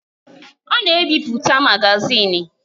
Ọ na-ebipụta magazin.